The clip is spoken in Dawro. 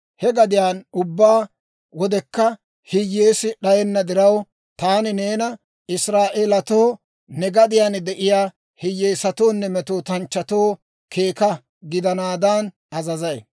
He gadiyaan ubbaa wodekka hiyyeesi d'ayenna diraw, taani neena Israa'eelatoo, ne gadiyaan de'iyaa hiyyeesatoonne metootanchchatoo keeka gidanaadan azazay.